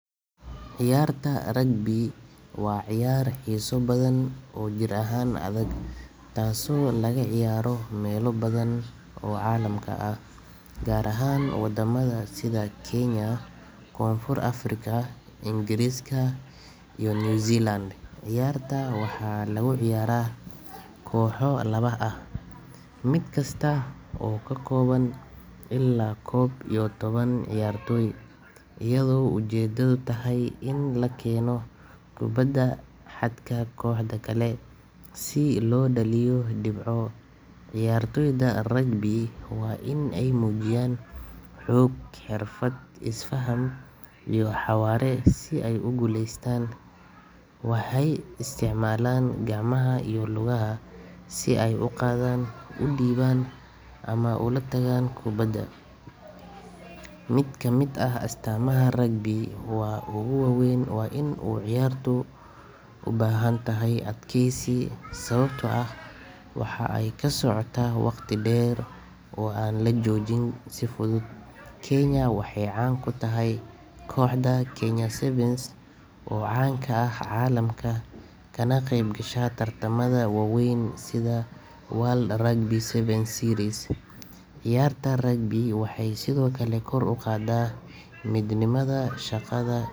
Ciyaarta rugby waa ciyaar xiiso badan oo jir ahaan adag taasoo laga ciyaaro meelo badan oo caalamka ah, gaar ahaan wadamada sida Kenya, Koonfur Afrika, Ingiriiska iyo New Zealand. Ciyaarta waxaa lagu ciyaaraa kooxo laba ah, mid kasta oo ka kooban ilaa koob iyo toban ciyaartoy, iyadoo ujeedadu tahay in la keeno kubbadda xadka kooxda kale si loo dhaliyo dhibco. Ciyaartoyda rugby waa in ay muujiyaan xoog, xirfad, is-faham iyo xawaare si ay u guuleystaan. Waxay isticmaalaan gacmaha iyo lugaha si ay u qaadaan, u dhiibaan ama u la tagaan kubbadda. Mid ka mid ah astaamaha rugby ugu waaweyn waa in ciyaartu u baahan tahay adkeysi, sababtoo ah waxa ay ku socotaa waqti dheer oo aan la joojin si fudud. Kenya waxay caan ku tahay kooxda Kenya Sevens oo caan ka ah caalamka kana qeybgasha tartamada waaweyn sida World Rugby Sevens Series. Ciyaarta rugby waxay sidoo kale kor u qaadaa midnimada, shaqada.